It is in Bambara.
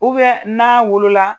n'a wolo la.